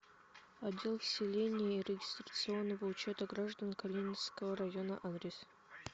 отдел вселения и регистрационного учета граждан калининского района адрес